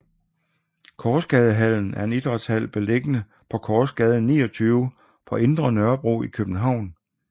Korsgadehallen er en idrætshal beliggende på Korsgade 29 på Indre Nørrebro i København